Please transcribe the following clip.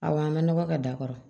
Awɔ an ka nɔgɔ kɛ da kɔrɔ